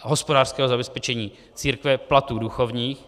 hospodářského zabezpečení církve, platů duchovních.